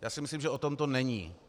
Já si myslím, že o tom to není.